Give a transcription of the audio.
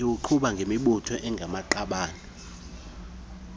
iwuqhuba ngemibutho engamaqabane